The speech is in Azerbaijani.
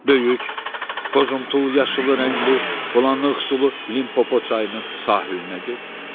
Böyük, boz-umtul-yaşılı rəngli bulanıq sulu Limpopo çayının sahilinə get.